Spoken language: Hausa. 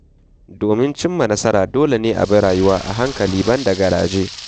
Domin cimma nasara, dole a bi rayuwa a hankali ban da garaje.